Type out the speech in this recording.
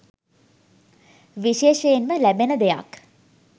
විශේෂයෙන්ම ලැබෙන දෙයක්